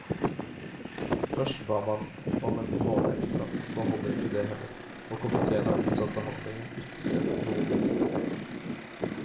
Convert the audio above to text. Først ba man om en måned ekstra, nå holder ikke det heller, og komitéen har utsatt behandlingen ytterligere noen uker.